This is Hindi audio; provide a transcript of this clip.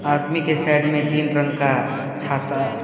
आदमी की साइड में तीन रंग का छाता--